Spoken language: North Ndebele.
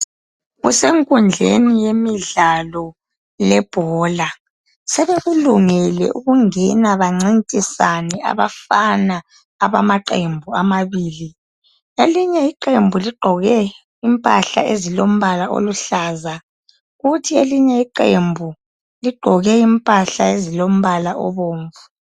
Kusenkundleni yemidlalo yebhola sebekulungele ukungena bancintisane abafana abamaqembu amabili, elinye iqembu ligqoke impahla ezilombala oluhlaza, kuthi elinye iqembu ligqoke impahla ezilombala obomvu.